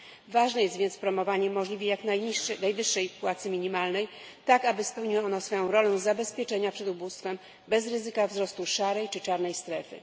Ważne jest więc promowanie możliwie jak najwyższej płacy minimalnej, tak aby spełniała ona swoją rolą zabezpieczenia przed ubóstwem bez ryzyka wzrostu szarej czy czarnej strefy.